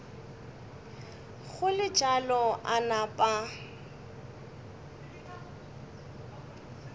go le bjalo a napa